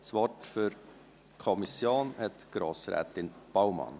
Das Wort für die Kommission hat die Grossrätin Baumann.